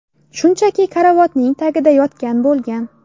Shunchaki karavotning tagida yotgan bo‘lgan.